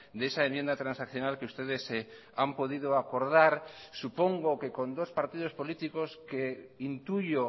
de esa enmienda transaccional que ustedes han podido acordar supongo que con dos partidos políticos que intuyo